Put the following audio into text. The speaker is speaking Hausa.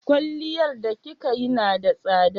Kwalliyar da kika yi na da tsada?